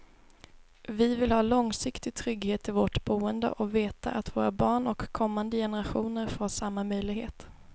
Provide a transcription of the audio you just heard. Vi vill ha långsiktig trygghet i vårt boende och veta att våra barn och kommande generationer får samma möjlighet.